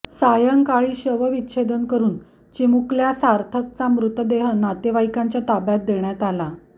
सायंकाळी शवविच्छेदन करून चिमुकल्या सार्थकचा मृतदेह नातेवाईकांच्या ताब्यात देण्यात आला